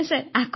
ଆଜ୍ଞା ସାର୍